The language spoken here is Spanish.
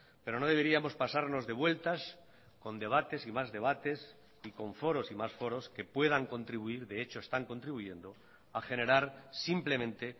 pero no deberíamos pasarnos de vueltas con debates y más debates y con foros y más foros que puedan contribuir de hecho están contribuyendo a generar simplemente